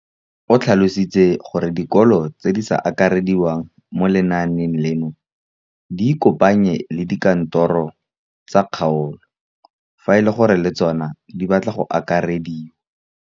O tlhalositse gore dikolo tse di sa akarediwang mo lenaaneng leno di ikopanye le dikantoro tsa kgaolo fa e le gore le tsona di batla go akarediwa.